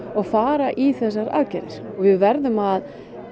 og fara í þessar aðgerðir við verðum að